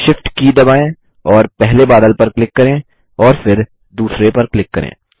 Shift की दबाएँ और पहले बादल पर क्लिक करें और फिर दूसरे पर क्लिक करें